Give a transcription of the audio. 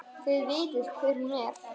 Þið vitið hver hún er!